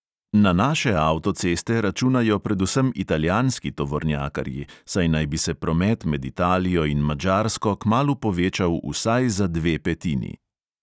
Na naše avtoceste računajo predvsem italijanski tovornjakarji, saj naj bi se promet med italijo in madžarsko kmalu povečal vsaj za dve petini.